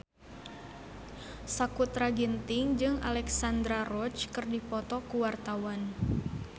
Sakutra Ginting jeung Alexandra Roach keur dipoto ku wartawan